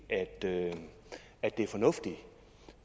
det er fornuftigt